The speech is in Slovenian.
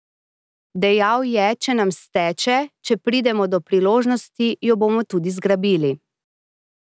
Dejal je, če nam steče, če pridemo do priložnosti, jo bomo tudi zgrabili.